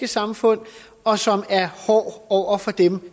samfund og som er hård hård over for dem